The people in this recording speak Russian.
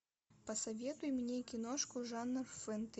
посоветуй мне киношку жанр фэнтези